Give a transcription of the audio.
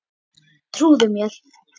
Trúðu mér.